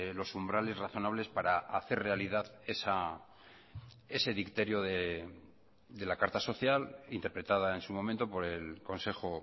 los umbrales razonables para hacer realidad ese dicterio de la carta social interpretada en su momento por el consejo